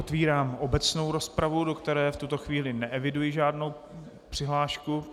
Otevírám obecnou rozpravu, do které v tuto chvíli neeviduji žádnou přihlášku...